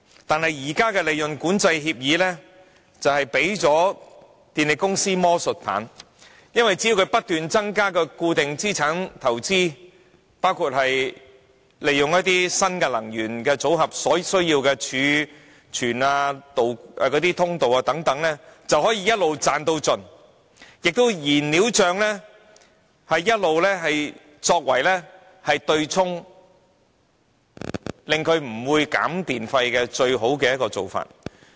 但是，現時管制利潤的協議，卻給予電力公司魔術棒，只要他們不斷增加固定資產投資，包括利用新能源組合所需要的儲存、管道等，便可以一直"賺到盡"，而燃料帳也一直作為對沖，成為他們拒絕削減電費的最好方法。